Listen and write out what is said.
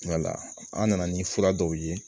an nana ni fura dɔw ye